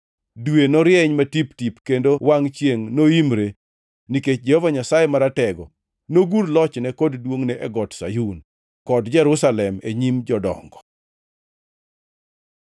Dwe norieny matip-tip kendo wangʼ chiengʼ noimre nikech Jehova Nyasaye Maratego, nogur lochne kod duongʼne e Got Sayun kod Jerusalem e nyim jodongo.